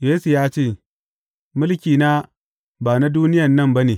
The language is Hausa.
Yesu ya ce, Mulkina ba na duniyan nan ba ne.